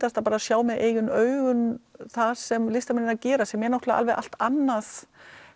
sjá með eigin augum það sem listamennirnir gera sem er allt annað